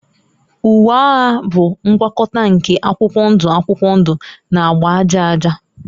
Uwe agha bụ ngwakọta nke akwụkwọ ndụ akwụkwọ ndụ na agba aja aja